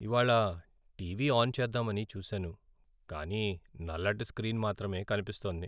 ఇవాళ్ళ TV on చేద్దామని చూసాను, కానీ నల్లటి స్క్రీన్ మాత్రమే కనిపిస్తోంది.